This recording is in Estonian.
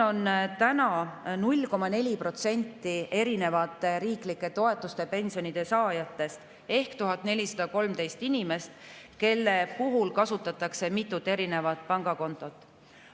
0,4% riiklike toetuste ja pensionide saajate ehk 1413 inimese puhul kasutatakse mitut pangakontot.